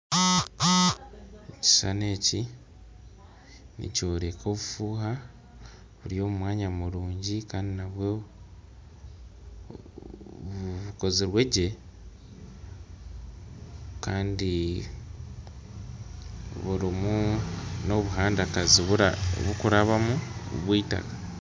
Ekishushani eki, nikyoreka obufuuha buri omwanya murungi kandi nabwo bukozirwe gye kandi burimu n'obuhandagazi burikurabamu bw'eitaka.